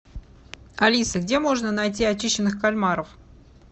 алиса где можно найти очищенных кальмаров